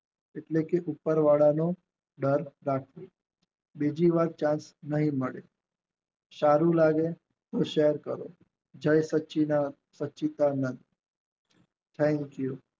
એટલે કે ઉપરવાળાનું ડર રાખવું બીજી વાત ચાન્સ નહિ મળે સારું લાવો તો સેર કરો થેન્ક યુ